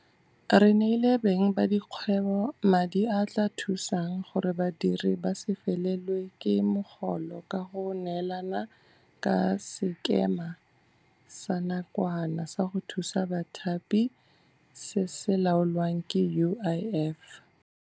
Re neile beng ba dikgwebo madi a a tla thusang gore badiri ba se felelwe ke mogolo ka go neelana ka Sekema sa Nakwana sa go Thusa Bathapi se se laolwang ke UIF.